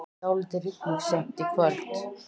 Dálítil rigning seint í kvöld